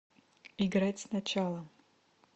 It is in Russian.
играть сначала